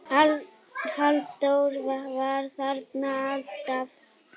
Halldór var þarna alltaf.